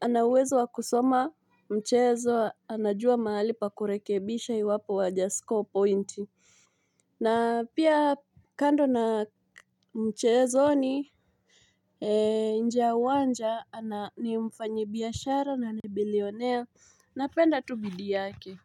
ana uwezo wa kusoma mchezo anajua mahali pa kurekebisha iwapo hajasko pointi. Na pia kando na mchezo ni nje ya uwanja ni mfanyibiashara na ni billionaire napenda tu bidii yake.